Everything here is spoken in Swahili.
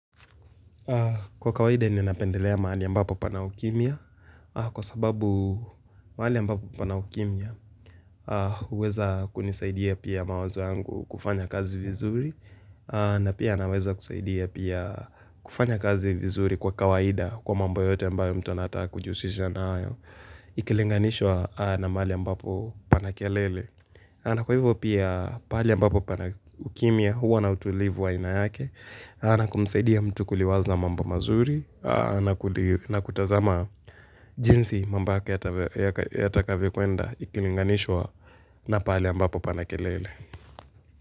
Kwa kawaida ninapendelea mahali ambapo pana ukimya kwa sababu mahali ambapo pana ukimya uweza kunisaidia pia mawazo yangu kufanya kazi vizuri na pia anaweza kusaidia pia kufanya kazi vizuri kwa kawaida kwa mambo yote ambayo mtu anataka kujihusisha na ayo ikilinganishwa na mahali ambapo pana kelele. Ana kwa hivyo pia pahali ambapo pana ukimya huwa na utulivu waaina yake na kumsaidia mtu kuliwaza mambo mazuri na kutazama jinsi mambo yake yatakavyokwenda ikilinganishwa na pahali ambapo pana kelele.